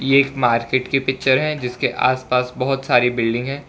ये एक मार्केट की पिक्चर है जिसके आस पास बहोत सारी बिल्डिंग है।